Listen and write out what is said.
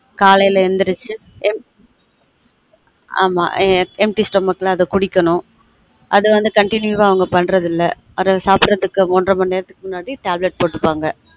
காலைல எழுந்துருச்சு எம் ஆமா empty stomach ல அத குடிக்கனும் அது வந்து continue வா அத பன்றது இல்ல அதான் சாப்ட்ரதுக்கு ஒன்ற மணி நேரத்துக்கு முன்னாடி tablet போட்டு பாங்க